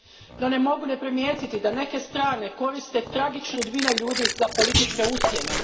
No, ne mogu ne primijetiti da neke strane koriste tragične sudbine ljudi za političke ucjene.